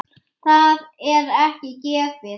Það er ekki gefið.